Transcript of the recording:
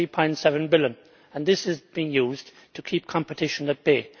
3.7 billion and this is being used to keep competition at bay.